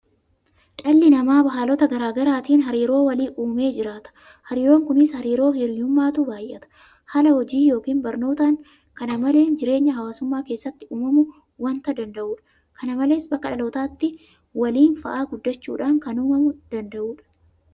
Dhalli namaa haalota garaa garaatiin hariiroo walii uumee jiraata. Hariiroon kunis hariiroo hiriyummaatu baay'ata. Haala hojii yookiin barnootaan kana maleen jireenya hawaasummaa keessatti uumamuu waanta danda'udha. Kana malees bakka dhalootaatti waliin fa'aa guddachuudhaan kan uumamuu danda'udha.